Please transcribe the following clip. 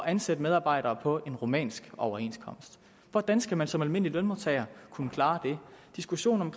ansætte medarbejdere på en rumænsk overenskomst hvordan skal man som almindelig lønmodtager kunne klare det diskussionen